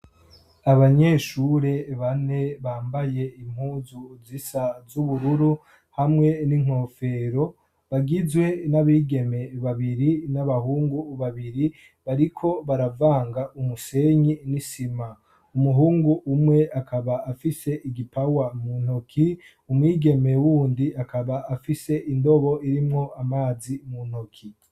Abanyeshure bane bambaye impuzu zisa z'ubururu hamwe n'inkofero bagizwe n'abigeme babiri n'abahungu babiri bariko baravanga umusenyi n'isima umuhungu umwe akaba afise igipawa mu ntoki umwigeme wundi akaba afise indobo irimwo amazi mu ntoki.